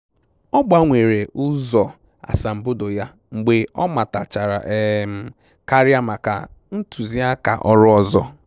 Ọ gbanwere ụzọ asambodo ya mgbe ọ matachara um karịa maka ntụziaka ọrụ ọzọ